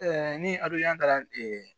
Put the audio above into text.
ni ado kɛra